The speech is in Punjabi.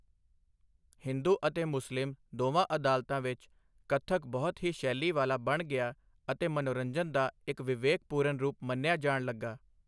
ਹਿੰਦੂ ਅਤੇ ਮੁਸਲਿਮ ਦੋਵਾਂ ਅਦਾਲਤਾਂ ਵਿੱਚ, ਕੱਥਕ ਬਹੁਤ ਹੀ ਸ਼ੈਲੀ ਵਾਲਾ ਬਣ ਗਿਆ ਅਤੇ ਮਨੋਰੰਜਨ ਦਾ ਇੱਕ ਵਿਵੇਕਪੂਰਨ ਰੂਪ ਮੰਨਿਆ ਜਾਣ ਲੱਗਾ।